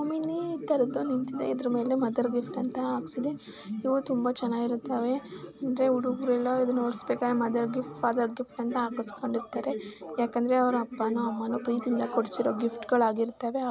ಹೋಮಿನಿ ಇತರದು ನಿಂತಿದೆ ಇದರ ಮೇಲೆ ಮದರ್ ಗಿಫ್ಟ್ ಅಂತ ಹಕಸಿದೆ ಇವು ತುಂಬಾ ಚನ್ನಾಗಿರುತ್ತವೆ ಅಂದರೆ ಹುಡುಗರುರೆಲ್ಲ ಇದುನ್ನ ಹೊಡಿಸಬೇಕಾದರೆ ಮದರ್ ಗಿಫ್ಟ್ ಫಾಧರ್ ಗಿಫ್ಟ್ ಅಂತ ಹಾಕಿಸಿಕೊಂಡು ಇರುತ್ತಾರೆ ಯಾಕೆ ಅಂದರೆ ಅವರ ಅಪ್ಪನೊ ಅಮ್ಮನೊ ಪ್ರೀತಿಯಿಂದ ಕೊಡಿಸಿರೊ ಗಿಫ್ಟ್ಗಳು ಹಾಗಿರುತವೆ.